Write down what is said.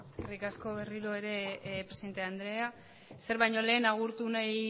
eskerrik asko berriro ere presidente andrea ezer baino lehen agurtu